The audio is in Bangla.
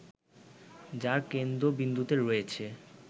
যার কেন্দ্রবিন্দুতে রয়েছে